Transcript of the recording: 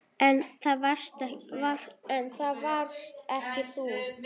En það varst ekki þú.